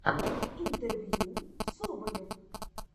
интервью соболев